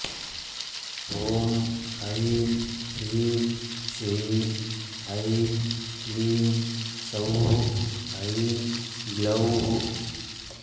ॐ ऐं ह्रीं श्रीं ऐं क्लीं सौः ऐं ग्लौः